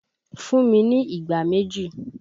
Fún mi ní ìgbá méjì!